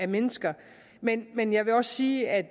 mennesker men men jeg vil også sige at